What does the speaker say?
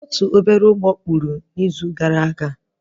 Mmiri riri obere ụgbọ na izu gara aga